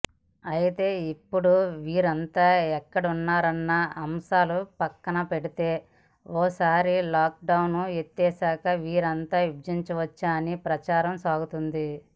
అయితే ఇప్పుడు వీరంతా ఎక్కడున్నారన్న అంశాన్ని పక్కనబెడితే ఓసారి లాక్ డౌన్ ఎత్తివేశాక వీరంతా విజృంభించవచ్చన్న ప్రచారం సాగుతోంది